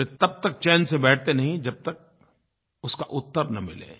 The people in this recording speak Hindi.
वे तब तक चैन से बैठते नहीं जब तक उसका उत्तर न मिले